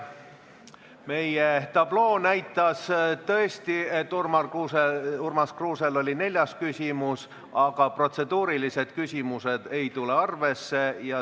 Meie tabloo näitas tõesti, et Urmas Kruusel oli see neljas küsimus, aga protseduurilised küsimused ei lähe arvesse.